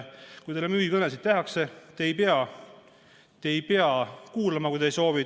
Kui teile tehakse müügikõne, ei pea te seda kuulama, kui te ei soovi.